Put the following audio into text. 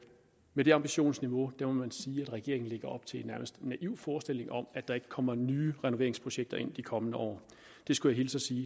med det ambitionsniveau må man sige at regeringen lægger op til en nærmest naiv forestilling om at der ikke kommer nye renoveringsprojekter ind i de kommende år jeg skulle hilse og sige